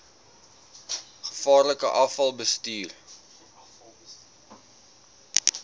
gevaarlike afval bestuur